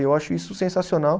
E eu acho isso sensacional.